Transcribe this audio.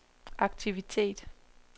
aktivitet